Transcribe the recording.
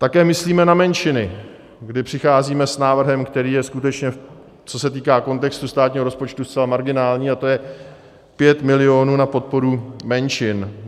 Také myslíme na menšiny, kdy přicházíme s návrhem, který je skutečně, co se týká kontextu státního rozpočtu zcela marginální, a to je 5 milionů na podporu menšin.